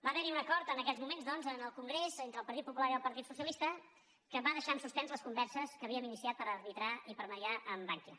va haver hi un acord en aquells moments doncs en el congrés entre el partit popular i el partit socialista que va deixar en suspens les converses que havíem iniciat per arbitrar i per mitjançar amb bankia